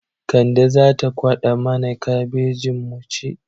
Kande za ta kwaɗa mana kabejin mu ci.